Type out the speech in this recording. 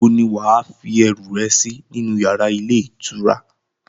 Níbo ni wà á fi ẹrú rẹ sí nínu yàrá ilé ìtura?